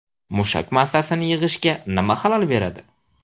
Mushak massasini yig‘ishga nima xalal beradi?.